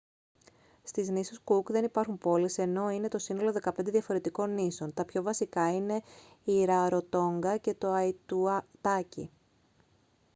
στις νήσους κουκ δεν υπάρχουν πόλεις ενώ είναι το σύνολο 15 διαφορετικών νήσων τα πιο βασικά είναι η ραροτόνγκα και το αϊτουτάκι